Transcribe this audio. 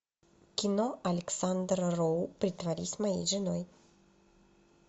кино александра роу притворись моей женой